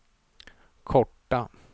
korta